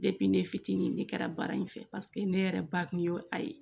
ne fitinin ne kɛra baara in fɛ ne yɛrɛ ba kun y'o a ye